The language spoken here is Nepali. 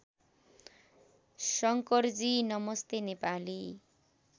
शंकरजी नमस्ते नेपाली